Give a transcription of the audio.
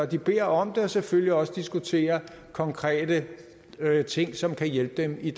de beder om det og selvfølgelig også diskutere konkrete ting som kan hjælpe dem i